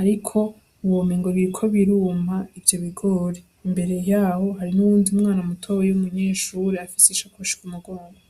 ariko womengo biriko biruma ivyo bigori, imbere yaho hari n'uwundi mwana mutoyi w'umunyeshure afise ishakoshi ku mugongo.